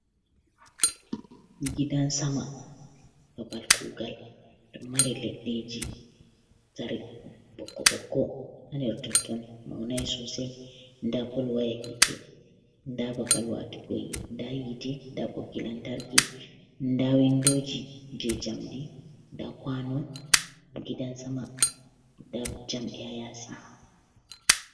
Gidan sama babal kuugal ɗo mari leɗɗeeji ɓokko- ɓokko totton mawnai soosai, ndaa pol waya hiite, ndaa babal waatugo ndaa hiite ndaa ɓoggi lantarki ndaa windooji jey jamndi ndaa kwaano, gidan sama ndaa jamdi haa yaasi.